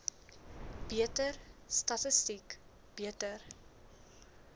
beter statistiek beter